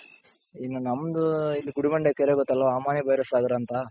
ಇನ್ನ ನಮ್ದು ಇಲ್ಲಿ ಗುಡಿಬಂಡೆ ಕೆರೆ ಗೊತ್ತಲ್ವ ಅಮ್ಮಣ್ಣಿ ಬೈರಾ ಸಾಗರ ಅಂತ,